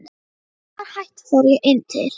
Þegar það var hætt fór ég inn til